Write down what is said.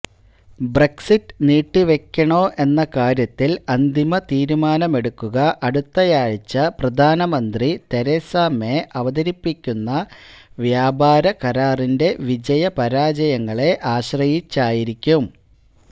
Brexit നീട്ടിവെക്കണോ എന്ന കാര്യത്തില് അന്തിമ തീരുമാനമെടുക്കുക അടുത്തയാഴ്ച പ്രധാനമന്ത്രി തെരേസ മേ അവതരിപ്പിക്കുന്ന വ്യാപാര കരാറിന്റെ വിജയപരാജയങ്ങളെ ആശ്രയിച്ചായിരിക്കും